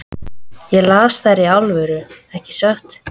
Ég las þær í alvöru, ekki satt?